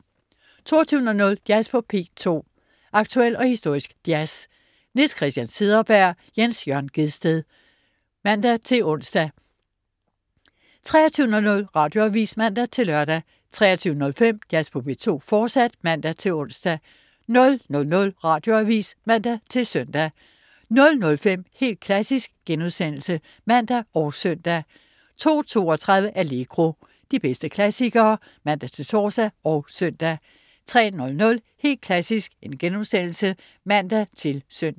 22.00 Jazz på P2. Aktuel og historisk jazz. Niels Christian Cederberg/Jens Jørn Gjedsted (man-ons) 23.00 Radioavis (man-lør) 23.05 Jazz på P2, fortsat (man-ons) 00.00 Radioavis (man-søn) 00.05 Helt klassisk* (man og søn) 02.32 Allegro. De bedste klassikere (man-tors og søn) 03.00 Helt klassisk* (man-søn)